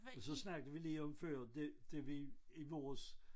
Og så snakkede vi lige om før det da vi i vores